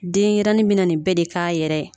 Denyɛrɛnin bɛna nin bɛɛ de k'a yɛrɛ.